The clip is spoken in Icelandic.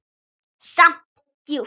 Samt djúp.